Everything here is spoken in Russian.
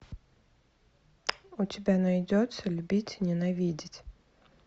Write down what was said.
у тебя найдется любить и ненавидеть